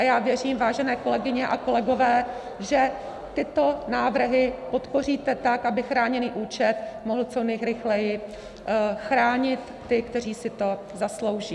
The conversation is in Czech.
A já věřím, vážené kolegyně a kolegové, že tyto návrhy podpoříte tak, aby chráněný účet mohl co nejrychleji chránit ty, kteří si to zaslouží.